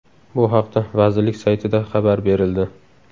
Bu haqda vazirlik saytida xabar berildi .